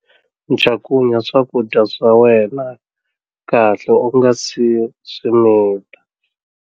Cakunya swakudya swa wena kahle u nga si swi mita.